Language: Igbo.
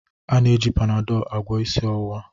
E ji Panadọl agwọ isi ọwụwa.